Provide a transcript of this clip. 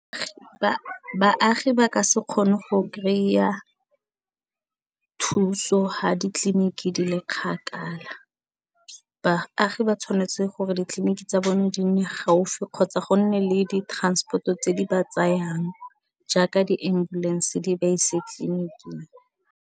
Baagi ba ka se kgone go kry-a thuso ha ditleliniki di le kgakala baagi ba tshwanetse gore ditleliniki tsa bone di nne gaufi kgotsa gonne le di transport-o tse di ba tsayang jaaka di ambulance di ba ise tleliniking.